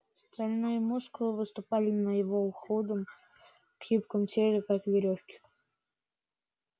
стальные мускулы выступали на его худом гибком теле как верёвки